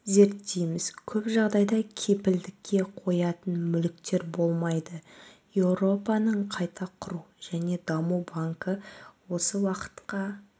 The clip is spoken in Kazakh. зерттейміз көп жағдайда кепілдікке қоятын мүліктер болмайды еуропаның қайта құру және даму банкі осы уақытқа